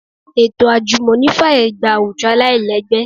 Ètò àjùmọ̀ní fàyè gba àwùjọ aláìlẹ́gbẹ́